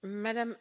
Signora